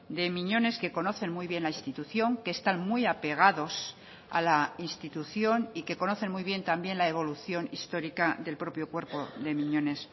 de miñones que conocen muy bien la institución que están muy apegados a la institución y que conocen muy bien también la evolución histórica del propio cuerpo de miñones